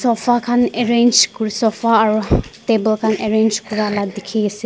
kan arrange ku sofa aro table kan arrange kurala diki ase.